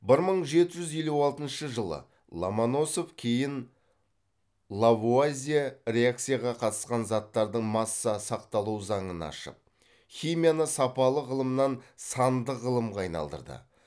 бір мың жеті жүз елу алтыншы жылы ломоносов кейін лавуазье реакцияға қатысқан заттардың масса сақталу заңын ашып химияны сапалық ғылымнан сандық ғылымға айналдырды